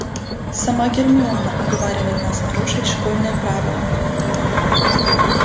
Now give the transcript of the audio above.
сама гермиона уговаривает нас нарушить школьные правила